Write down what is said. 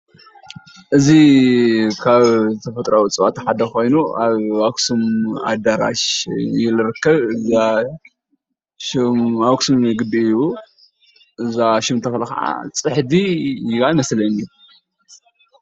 እዚ ካብ ተፈጥራዊ እፅዋት ሓደ ኮይኑ ኣብ ኣክሱም ኣዳራሽ እዩ ዝርከብ ኣኽሱም ግቢ እዩ እዛ ሹም ተኽሊ ካዓ ፅሕዲ እያ ይመስለኒ፤